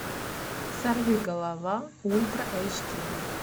сорви голова ультра эйч ди